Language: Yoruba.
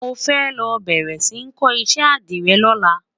mọ fẹ ló béèrè sí kò iṣẹ adire lọla